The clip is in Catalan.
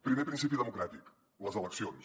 primer principi democràtic les eleccions